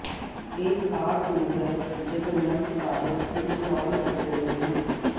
ਇਹ ਖਾਸ ਨਜ਼ਰ ਜਦ ਨਵ ਕਾਰਜ ਇੰਸਟਾਲ ਕਰ ਰਹੇ ਹਨ